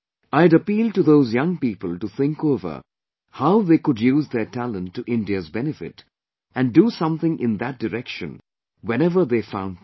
I had appealed to those young people to think over how could they use their talent to India's benefit and do something in that direction whenever they found time